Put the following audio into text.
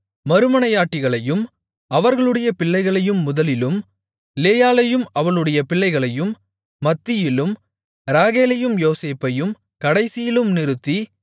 மறுமனையாட்டிகளையும் அவர்களுடைய பிள்ளைகளையும் முதலிலும் லேயாளையும் அவளுடைய பிள்ளைகளையும் மத்தியிலும் ராகேலையும் யோசேப்பையும் கடைசியிலும் நிறுத்தி